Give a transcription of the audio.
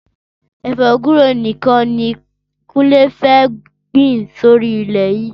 Ẹfọ gbùré nikàn ni Kunle fẹ́ gbin sóri ilẹ yi